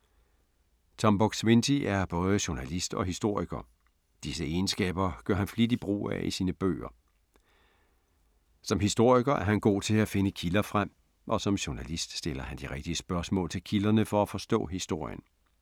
Tom Buk-Swienty er både journalist og historiker. Disse egenskaber gør han flittigt brug af i sine bøger. Som historiker er han god til at finde kilder frem og som journalist stiller han de rigtige spørgsmål til kilderne for at forstå historien.